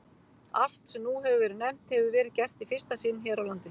Allt, sem nú hefir verið nefnt, hefir verið gert í fyrsta sinn hér á landi.